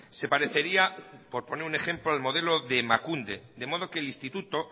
se parecería por poner un ejemplo al modelo de emakunde de modo que el instituto